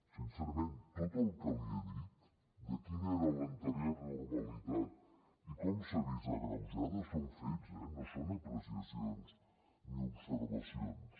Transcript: sincerament tot el que li he dit de quina era l’anterior normalitat i com s’ha vist agreujada són fets eh no són apreciacions ni observacions